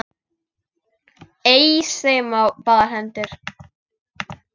Eys þeim á báðar hendur!